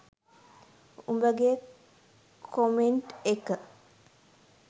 උඹගේ comment එක.